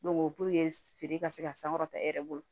puruke feere ka se ka sankɔrɔta e yɛrɛ bolo